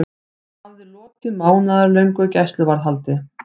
Hann hafði lokið mánaðarlöngu gæsluvarðhaldi.